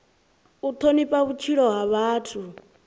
u thonifha vhutshilo ha muthu